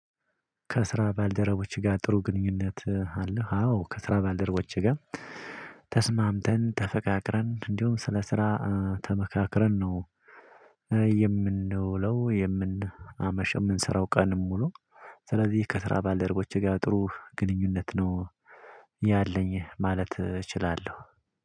ከስራ ባልደረቦች ጋር ጥሩ ግንኙነት አለህ? አዎ ከስራ ባልደረቦች ጋር ተስማምተን ተፈቃቅረን እንደውም ስለ ስራ ተመካክረን ነው የምንውለው። የምን አመሽው የምንሰራው ቀኑን ሙሉ ስለዚህ ከስራ ባልደረቦቼ ጋር ጥሩ ግንኙነት ነው። ያለኝ ማለት እችላለሁ።